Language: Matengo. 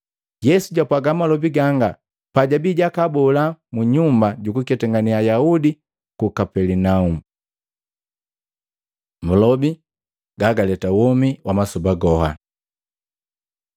Yesu japwaga malobi ganga pajabii jakabola mu nyumba jukuketangena Ayaudi ku Kapelinaumu. Malobi gagaleta womi wa masoba goha